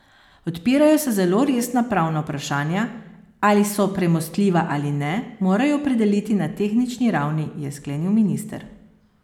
Odpirajo se zelo resna pravna vprašanja, ali so premostljiva ali ne, morajo opredeliti na tehnični ravni, je sklenil minister.